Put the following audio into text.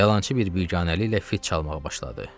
Yalançı bir biganəliklə fit çalmağa başladı.